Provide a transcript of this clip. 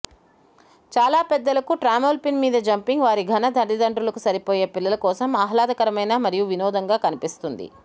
చాలా పెద్దలకు ట్రామ్పోలిన్ మీద జంపింగ్ వారి ఘన తల్లిదండ్రులకు సరిపోయే పిల్లల కోసం ఆహ్లాదకరమైన మరియు వినోదంగా కనిపిస్తుంది